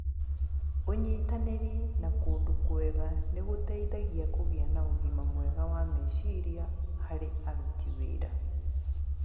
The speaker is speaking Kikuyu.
Ũnyitanĩri na kũndũ kwega nĩ gũteithagia kũgĩa na ũgima mwega wa meciria harĩ aruti wĩra.